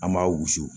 An m'a wusu